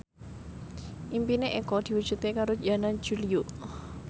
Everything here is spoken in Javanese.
impine Eko diwujudke karo Yana Julio